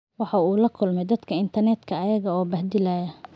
Waxa uu la kulmayay dadka internetka iyaga oo bahdilaya.